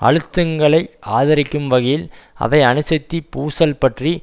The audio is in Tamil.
அழுத்தங்களை அதிகரிக்கும் வகையில் அவை அணுசக்தி பூசல் பற்றி